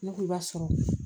Ne ko i b'a sɔrɔ